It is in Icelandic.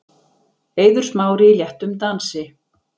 Eiður Smári í léttum dansi.